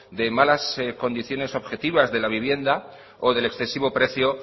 de malas condiciones objetivas de la vivienda o del excesivo precio